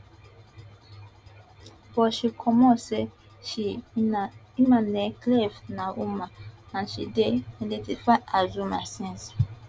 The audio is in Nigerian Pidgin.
butshe comot say she imane khelif na woman and she dey identify as woman since